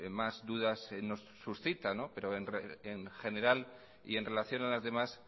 más dudas nos suscita pero en general y en relación a las demás